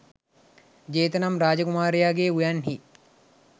ජේත නම් රාජ කුමාරයාගේ උයන්හි